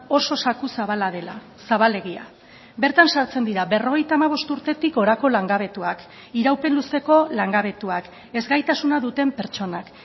oso zaku zabala dela zabalegia bertan sartzen dira berrogeita hamabost urtetik gorako langabetuak iraupen luzeko langabetuak ezgaitasuna duten pertsonak